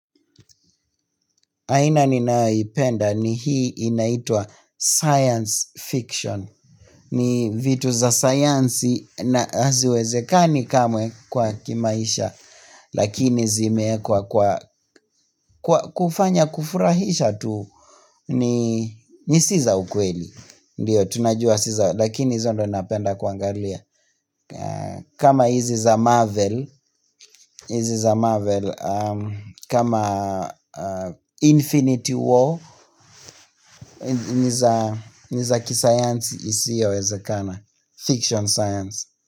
Aina ninaipenda ni hii inaitwa science fiction ni vitu za sayansi na haziwezekani kamwe kwa kimaisha Lakini zimeekwa kwa kufanya kufurahisha tu ni si za ukweli Ndio tunajua si za lakini hizo ndio ninapenda kuangalia kama hizi za marvel hizi za marvel kama infinity war ni za kisayansi isiyowezekana, fiction science.